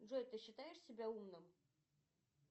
джой ты считаешь себя умным